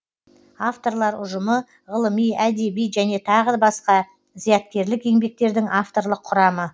авторлар ұжымы ғылыми әдеби және тағы басқа зияткерлік еңбектердің авторлық құрамы